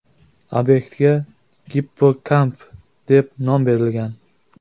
Obyektga Gippokamp deb nom berilgan.